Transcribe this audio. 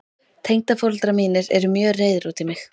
Tengdaforeldrar mínir eru mjög reiðir út í mig.